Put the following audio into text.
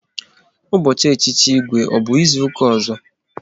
Ụbọchị echichi Igwe ọ bụ izuka ọzọ?